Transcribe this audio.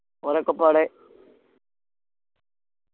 ഓലക്കപ്പാടെ